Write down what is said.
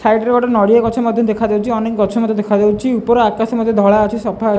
ସାଇଡ଼ରେ ଗୋଟେ ନଡ଼ିଆ ଗଛ ମଧ୍ୟ ଦେଖାଯାଉଛି ଅନେକ ଗଛ ମଧ୍ୟ ଦେଖାଯାଉଛି ଉପର ଆକାଶ ମଧ୍ୟ ଧଳା ଅଛି ସଫା --